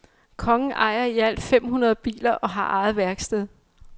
Kongen ejer i alt fem hundrede biler og har eget værksted.